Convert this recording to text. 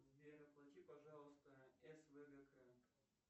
сбер оплати пожалуйста свгк